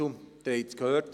Sie haben es gehört.